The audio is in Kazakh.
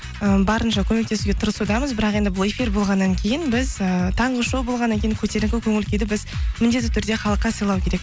ы барынша көмектесуге тырысудамыз бірақ енді бұл эфир болғаннан кейін біз ііі таңғы шоу болғаннан кейін көтеріңкі көңіл күйді біз міндетті түрде халыққа сыйлау керек